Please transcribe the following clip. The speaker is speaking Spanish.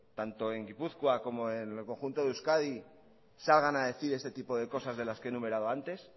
tanto en gipuzkoa como en el conjunto de euskadi salgan a decir este tipo de cosas de las que he enumerado antes